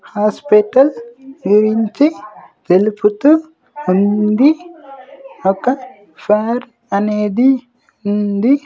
Hospital గురించి తెలుపుతూ ఉంది ఒక ఫార్ అనేది ఉంది.